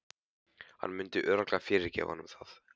Hann myndi örugglega fyrirgefa honum það.